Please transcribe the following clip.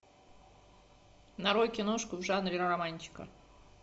нарой киношку в жанре романтика